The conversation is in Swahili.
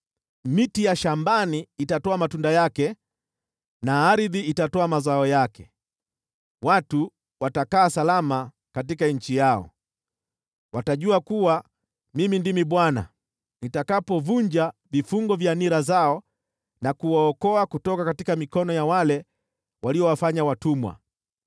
Miti ya shambani itatoa matunda yake na ardhi itatoa mazao yake, watu watakaa salama katika nchi yao. Watajua kuwa Mimi ndimi Bwana , nitakapovunja vifungo vya nira zao na kuwaokoa kutoka mikono ya wale waliowafanya watumwa.